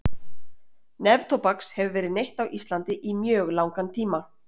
neftóbaks hefur verið neytt á íslandi í mjög langan tíma